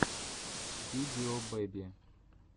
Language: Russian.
видео бэби